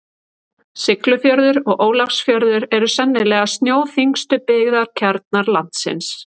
Siglufjörður og Ólafsfjörður eru sennilega snjóþyngstu byggðakjarnar landsins.